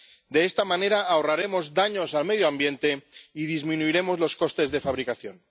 De esta manera ahorraremos daños al medio ambiente y disminuiremos los costes de fabricación.